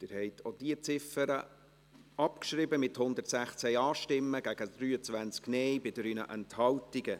Sie haben die Ziffer 3 abgeschrieben, mit 116 Ja- zu 23 Nein-Stimmen bei 3 Enthaltungen.